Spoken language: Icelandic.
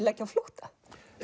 leggja á flótta